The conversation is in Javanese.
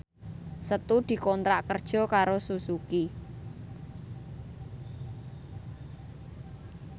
Setu dikontrak kerja karo Suzuki